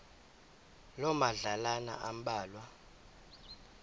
loo madlalana ambalwa